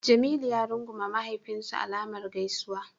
Jamilu ya rungume mahaifinsa alamar gaisuwa.